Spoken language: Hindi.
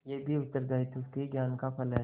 यह भी उत्तरदायित्व के ज्ञान का फल है